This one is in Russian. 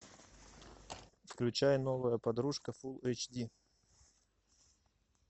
включай новая подружка фулл эйч ди